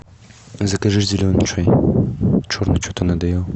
закажи зеленый чай черный что то надоел